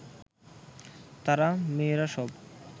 তারা, মেয়েরা সব